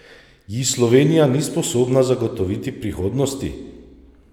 Ji Slovenija ni sposobna zagotoviti prihodnosti?